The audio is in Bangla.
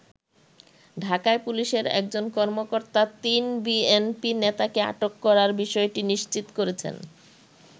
ঢাকায় পুলিশের একজন কর্মকর্তা তিন বিএনপি নেতাকে আটক করার বিষয়টি নিশ্চিত করেছেন।